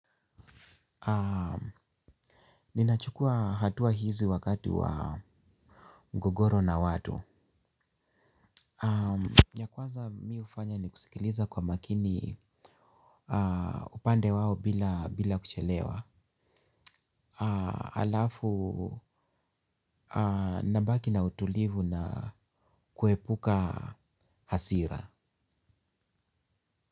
Ninachukua hatua hizi wakati wa mgogoro na watu ya kwanza mi ufanya ni kusikiliza kwa makini upande wao bila kuchelewa. Alafu nabaki na utulivu na kuepuka hasira.